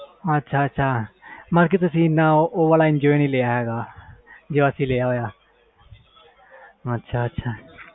ਅੱਛਾ ਅੱਛਾ ਮਤਬਲ ਤੁਸੀ ਓ ਵਾਲਾ enjoy ਨਹੀਂ ਲਿਆ ਜੋ ਅਸੀਂ ਲਿਆ